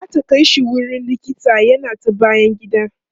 zata Kai shi wurin likita yana ta bayan gida